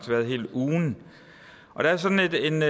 været hele ugen og der er sådan et